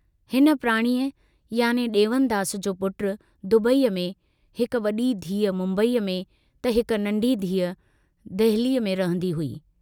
हिन प्राणीअ याने दे॒वनदास जो पुट दुबईअ में, हिक वड़ी धीअ मुम्बईअ में त हिक नन्ढी धीअ दहलीअ में रहंदी हुई।